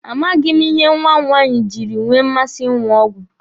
A maghị ihe nwa m nwaanyi jiri nwee mmasị ịṅụ ọgwụ.